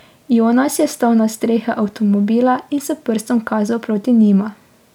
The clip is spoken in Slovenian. Jonas je stal na strehi avtomobila in s prstom kazal proti njima.